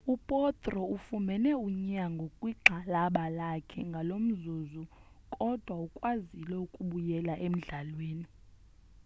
u potro ufumene unyango kwigxalaba lakhe ngalomzuzu kodwa ukwazile ukubuyela emdlalweni